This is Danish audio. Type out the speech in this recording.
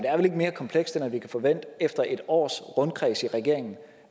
er vel ikke mere komplekst end at vi kan forvente efter et års rundkreds i regeringen